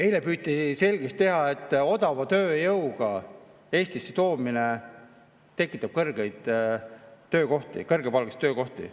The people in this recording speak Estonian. Eile püüti selgeks teha, et odava tööjõu Eestisse toomine tekitab kõrgepalgalisi töökohti.